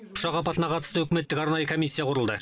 ұшақ апатына қатысты үкіметтік арнайы комиссия құрылды